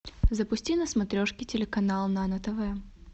запусти на смотрешке телеканал нано тв